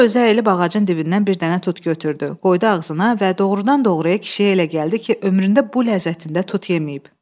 Sonra özü əyilib ağacın dibindən bir dənə tut götürdü, qoydu ağzına və doğurdan-doğruya kişiyə elə gəldi ki, ömründə bu ləzzətində tut yeməyib.